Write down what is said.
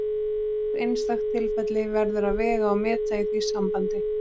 Hvert einstakt tilfelli verður að vega og meta í því sambandi.